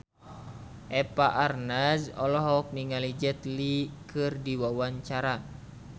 Eva Arnaz olohok ningali Jet Li keur diwawancara